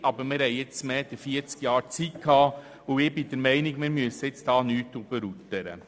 Aber wir hatten bisher mehr als 40 Jahre Zeit, und ich bin der Meinung, wir müssten uns nicht übereilen.